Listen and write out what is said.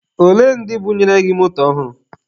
Olee ndị bunyere gị moto ọhụrụ?